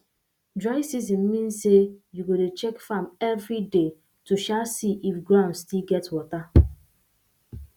dry season mean say you go dey check farm every day to um see if ground still get water